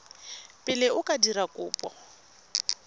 pele o ka dira kopo